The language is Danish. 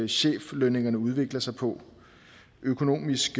cheflønningerne udvikler sig på økonomisk